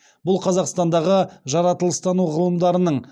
бұл қазақстандағы жаратылыстану ғылымдарының